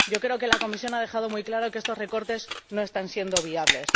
yo creo que la Comisión ha dejado muy claro que estos recortes no están siendo viables.